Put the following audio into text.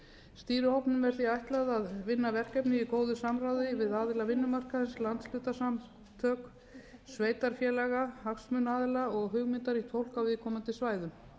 stýrihópnum er því ætlað að vinna verkefni í góðu samráði við aðila vinnumarkaðarins landshlutasamtök sveitarfélaga hagsmunaaðila og hugmyndaríkt fólk á viðkomandi svæðum